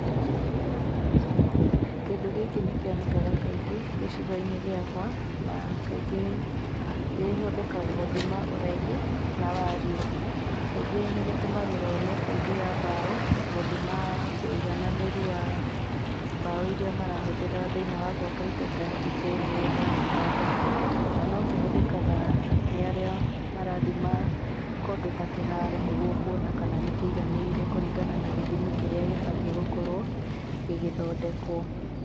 Kĩndũ gĩkĩ nĩ kĩonekaga kaingĩ gĩcigo-inĩ gĩakwa, na kaingĩ kĩhũthĩkaga gũthima ũraihu na wariĩ, kaingĩ nĩ gĩtũmiragwo nĩ bundi ya mbaũ, gũthima ũiganananĩru wa mbaũ iria marahũthĩra thĩinĩ wa gwaka indo ta itĩ, metha, itanda, na no kĩhũthĩkaga nĩ arĩa marathima kũndũ ta kĩharo nĩguo kuona kana nĩ kĩiganĩire kũringana na gĩthimi kĩrĩa gĩbatiĩ gũkorwo gĩgĩthondekwo.